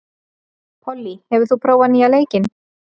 Pollý, hefur þú prófað nýja leikinn?